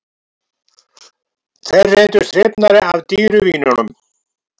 Þeir reyndust hrifnari af dýru vínunum